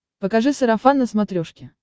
покажи сарафан на смотрешке